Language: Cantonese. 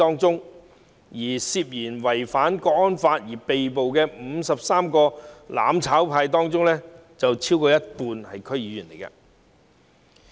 在涉嫌違反《香港國安法》被捕的53名"攬炒派"中，超過一半是區議員。